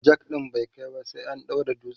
jack ɗin bai kaiba sai an daura dutse